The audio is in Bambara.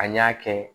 An y'a kɛ